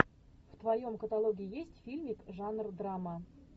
в твоем каталоге есть фильмик жанр драма